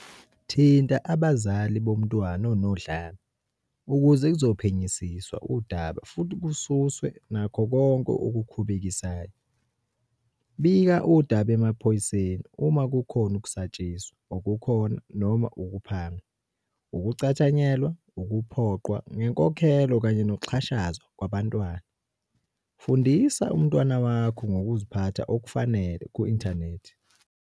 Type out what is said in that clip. Thinta abazali bomntwana onodlame ukuze kuzophenyisiswa udaba futhi kususwe nakho konke okukhubekisayo. Bika udaba emaphoyiseni uma kukhona ukusatshiswa okukhona noma ukuphangwa, ukucathanyelwa, ukuphoqwa ngenkokhelo kanye nokuxhashazwa kwabantwana. Fundisa umntwana wakho ngokuziphatha okufanele ku-inthanethi.